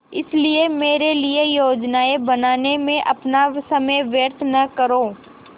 इसलिए मेरे लिए योजनाएँ बनाने में अपना समय व्यर्थ न करो